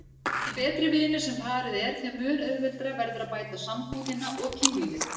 Því betri vinir sem parið er þeim mun auðveldara verður að bæta sambúðina og kynlífið.